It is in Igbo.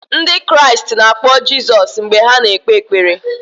Ndị Kraịst na-akpọ Jizọs mgbe ha na-ekpe ekpere.